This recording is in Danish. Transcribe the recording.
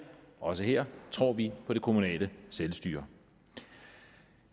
også her tror vi på det kommunale selvstyre